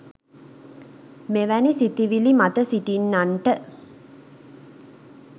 මෙවැනි සිතිවිලි මත සිටින්නන්ට